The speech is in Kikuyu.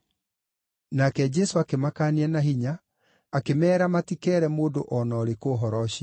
Nake Jesũ akĩmakaania na hinya, akĩmeera matikeere mũndũ o na ũrĩkũ ũhoro ũcio.